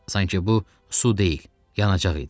Sanki bu su deyil, yanacaq idi.